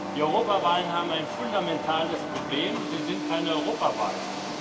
Die Europawahlen haben ein fundamentales Problem Sie sind kein Europawahlen.